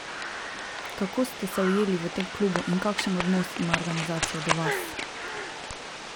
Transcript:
Kako ste se ujeli v tem klubu in kakšen odnos ima organizacija do vas?